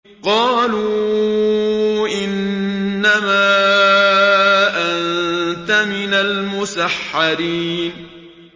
قَالُوا إِنَّمَا أَنتَ مِنَ الْمُسَحَّرِينَ